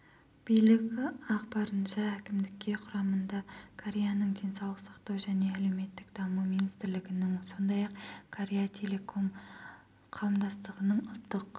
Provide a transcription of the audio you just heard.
билік ақпарынша әкімдікке құрамында кореяның денсаулық сақтау және әлеуметтік даму министрлігінің сондай-ақ корея телеком қауымдастығының ұлттық